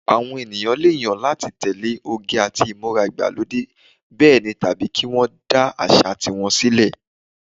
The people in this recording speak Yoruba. Àwọn èèyàn lè yàn láti tẹ̀lé oge àti ìmúra ìgbàlódé bẹ́ẹ̀ ni tàbí kí wọ́n dá àṣà ti wọn sílẹ̀